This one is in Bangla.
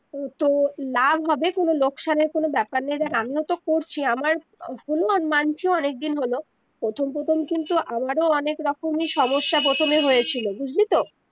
তো লাভ হবে কোনো লোকসানের কোনো বেপার নেই দেখ আমিও তো আমিও তো করছি আমার অনেক দিন হলো প্রথম প্রথম কিন্তু আমারো অনেক রকমে সমস্যা প্রথমে হয়েছিল বুঝলি তো